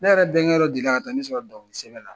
Ne yɛrɛ bɛnkɛ yɔrɔ dɔ deli la ka taa ne sɔrɔ dɔnkili sɛbɛn la.